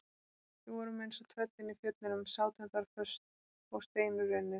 Við vorum eins og tröllin í fjöllunum, sátum þar föst og steinrunnin.